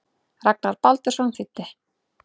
Ragnar Baldursson þýddi.